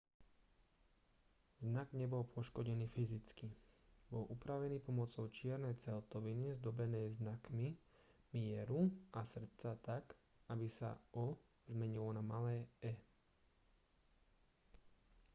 znak nebol poškodený fyzicky bol upravený pomocou čiernej celtoviny zdobenej znakmi mieru a srdca tak aby sa o zmenilo na malé e